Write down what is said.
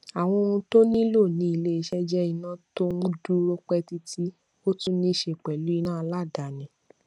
àwọn ohun tó nílò ní ilé iṣé jé iná tó n dúró pé títí ó tún níse pèlú iná aládàáni